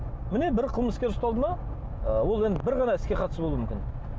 міне бір қылмыскер ұсталды ма ы ол енді бір ғана іске қатысы болуы мүмкін